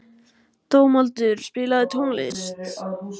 Dómaldur, spilaðu tónlist.